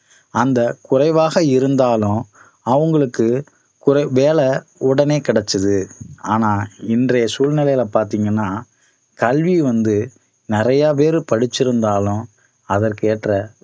அந்த குறைவாக இருந்தாலும் அவங்களுக்கு குறை~ வேலை உடனே கிடைச்சது ஆனா இன்றைய சூழ்நிலையில பாத்தீங்கன்னா கல்வி வந்து நிறைய பேரு படிச்சிருந்தாலும் அதற்கு ஏற்ற